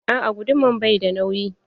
Aa guduman bai da nauyi.